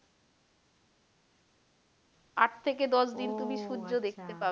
আট থেকে দশ দিন তুমি সূর্য দেখতে পাবেনা।